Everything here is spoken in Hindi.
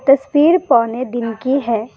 तस्वीर पौने दिन की है।